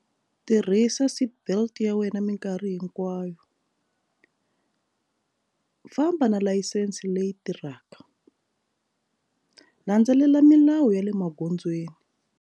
Tirhisa seatbelt ya wena minkarhi hinkwayo famba na layisense leyi tirhaka landzelela milawu ya le magondzweni.